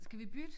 Skal vi bytte